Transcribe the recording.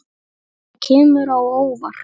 Það kemur á óvart.